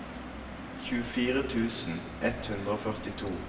tjuefire tusen ett hundre og førtito